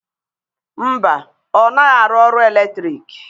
Mba, ọ naghị arụ ọrụ eletriki.